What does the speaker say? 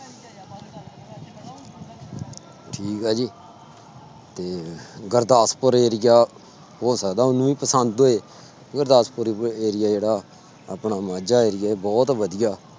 ਠੀਕ ਹੈ ਜੀ ਤੇ ਗੁਰਦਾਸਪੁਰ area ਹੋ ਸਕਦਾ ਉਹਨੂੰ ਵੀ ਪਸੰਦ ਹੋਏ, ਗੁਰਦਾਸਪੁਰ area ਜਿਹੜਾ ਆਪਣਾ ਮਾਝਾ area ਬਹੁਤ ਵਧੀਆ।